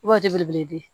I b'a di bere ye de